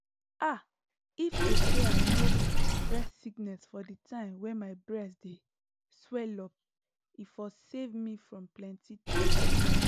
ah if to say i no breast sickness for di time wey my breast dey swellup e for save me from plenty tears